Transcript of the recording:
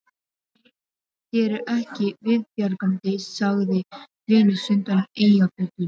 Þér er ekki viðbjargandi, sagði Venus undan Eyjafjöllum